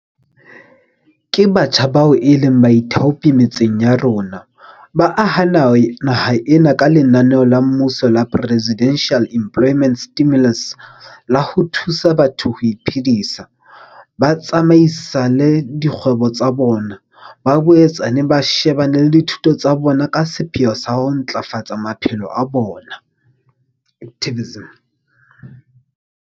Ke batjha bao e leng baithaopi metseng ya rona, ba aha naha ena ka lenaneo la mmuso la Presidential Employment Stimulus la ho thusa batho ho iphedisa, ba tsamaisale dikgwebo tsa bona, ba boetse ba shebane le dithuto tsa bona ka sepheo sa ho ntlafafatsa maphelo a bona.